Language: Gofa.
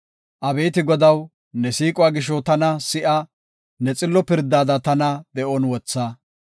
Abeeti Godaw, ne siiquwa gisho, tana si7a; ne xillo pirdada tana de7on wotha.